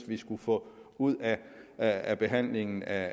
vi skulle få ud af behandlingen af